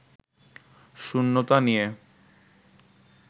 শূন্যতা নিয়ে